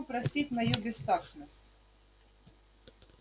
прошу простить мою бестактность